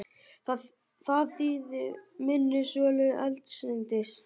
Það þýði minni sölu eldsneytis